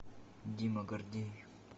дима гордеев